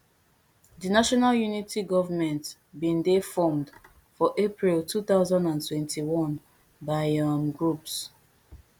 di national unity government bin dey formed for april two thousand and twenty-one by um groups